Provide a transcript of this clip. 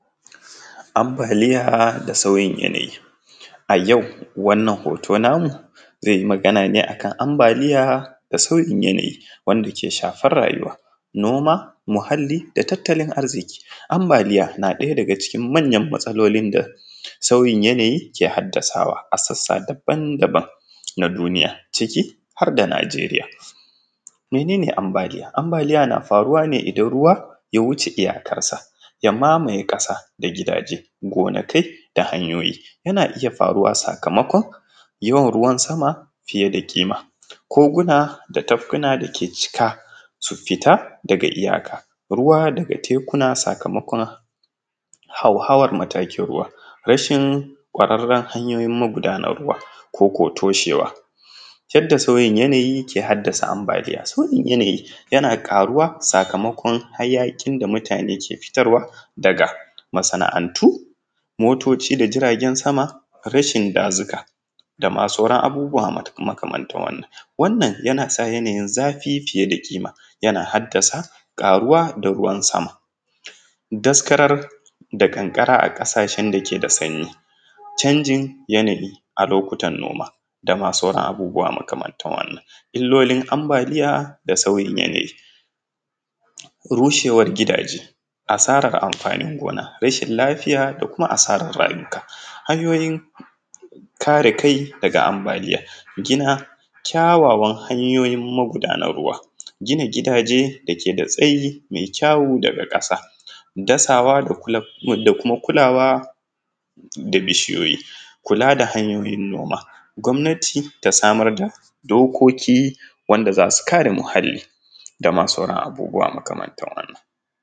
Ambaliya da sauyin yanayi, a yau wannan hoto namu zai yi magana ne akan ambaliya da sauyin yanayi wanda ke shafar rayuwa noma, muhali da tattalin arziki, ambaliya na ɗaya daga cikin manyan matsalolin da sayin yanayi ke hadasawa a sassa daban-daban na duniya har da Nigeriya. Mene ne ambaliya? Ambaliya na faruwa ne idan ruwa ya wuce iyakansa ya mamaye kasa da gidaje gonakai da hanyoyi yana iya faruwa sakamakon yin ruwan sama fiye da kima, koguna da tafkuna dake cika su fita daga iyaka ruwa daga tekuna sakomakon hauhauwan matakin ruwa, rashin ƙwararren magudanin ruwa koko toshewa, yadda sauyin yanayi ke hadasa ambaliya, sauyin yanayi yana karuwa sakamakon hayakin da mutane ke futarwa da masana’antu, motoci da jiragan sama rashin dajuka dama sauran abubuwa makamantar wannan, wannan yana sa yanyin zafi fiye da kima yana hadasa karuwa da ruwan sama, daskarar da kankara a kasashen da yake da sanyi, canjin yanayi a lokutan noma dama sauran abubuwa makamantan haka. Ilolin ambaliya da sauyin yanayi, rushewan gidaje, asarar amfanin gona, rashin lafiya da kuma asarar rayuka, kare kai daga ambaliya gina kyawawan hanyoyi na mugudar ruwa, gina gidaje dake da tsayi mai kyau daga kasa, dasawa da kuma kulawa da bishiyoyi, kula da hanyoyin noma, gwamnati ta samar da dokoki da zasu kare muhali dama sauran abubuwa makamantar wannan.